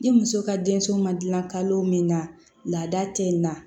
Ni muso ka denso ma dilan kalo min na laada tɛ n na